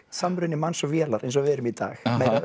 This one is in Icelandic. samruni manns og vélar eins og við erum í dag